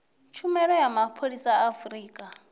tshumelo ya mapholisa a afurika